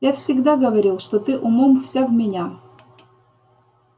я всегда говорил что ты умом вся в меня